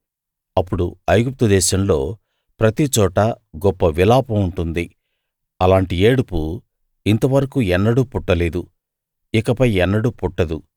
అప్పుడు ఐగుప్తు దేశంలో ప్రతి చోటా గొప్ప విలాపం ఉంటుంది అలాంటి ఏడుపు ఇంతవరకూ ఎన్నడూ పుట్టలేదు ఇకపై ఎన్నడూ పుట్టదు